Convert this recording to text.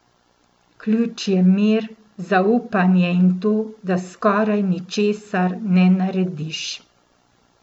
Ključ je mir, zaupanje in to, da skoraj ničesar ne narediš!